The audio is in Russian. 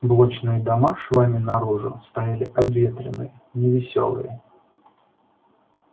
блочные дома швами наружу стояли обветренные невесёлые